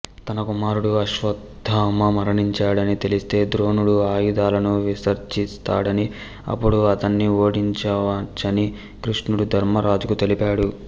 తన కుమారుడు అశ్వత్థామ మరణించాడని తెలిస్తే ద్రోణుడు ఆయుధాలను విసర్జిస్తాడని అప్పుడు అతణ్ణి ఓడించవచ్చని కృష్ణుడు ధర్మరాజుకు తెలిపాడు